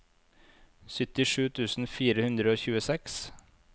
syttisju tusen fire hundre og tjueseks